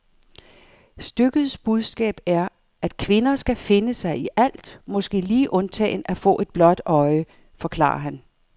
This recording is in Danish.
Stykkets budskab er, at kvinder skal finde sig i alt, måske lige undtagen at få et blåt øje, forklarer han.